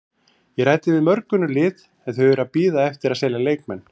Ég ræddi við mörg önnur lið en þau eru að bíða eftir að selja leikmenn.